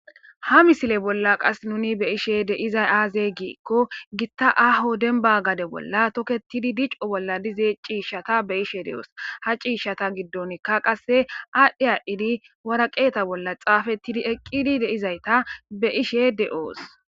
ha misile bolla qas nuni be'ishe deizay aaze giikko gitta aho denba gade bolla toketidi dico bolla dize ciishshata be ishe de'oos ha ciishshata giddonkka qasse aadhdhe aadidi wara qeeta bolla xaafettidi eqqidi deizayta be' ishe de'oos